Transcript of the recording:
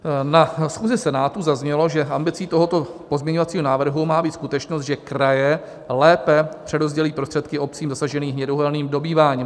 Na schůzi Senátu zaznělo, že ambicí tohoto pozměňovacího návrhu má být skutečnost, že kraje lépe přerozdělí prostředky obcím zasaženým hnědouhelným dobýváním.